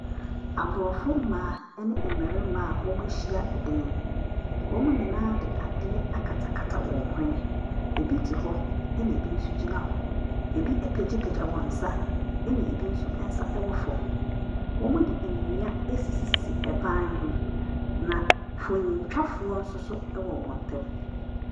Aborɔfo mmaa ne mmarima a wɔahyia dan mu, wɔde adeɛ akatakata wɔn hwene. Bi te hɔ na bi nso gyina hɔ, bi apagyapagya wɔn nsa na bi nso nsa wɔ fam. Wɔde nnua asisisisi ban ho, na mfonintwafoɔ nso wɔ wɔn ntam.